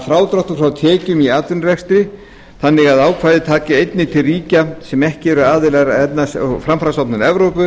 frádrátt frá tekjum í atvinnurekstri þannig að ákvæðið taki einnig til ríkja sem ekki eru aðilar að efnahags og framfarastofnun evrópu